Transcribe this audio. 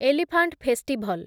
elephant festival